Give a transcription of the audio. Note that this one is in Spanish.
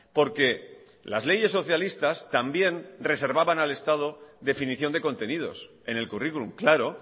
porque las leyes socialistas también reservaban al estado definición de contenidos en el curriculum claro